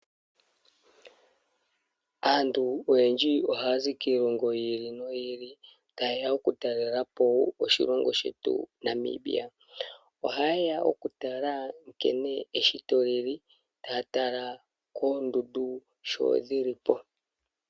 Aantu oyendji oha ya zi kilongo yi ili noyi ili, tayeya oku talela po oshilongo shetu Namibia ,ohayeya oku tala nkene neshito lili taya tala kondundu nkene dhili po.